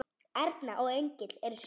Erna og Engill eru síðust.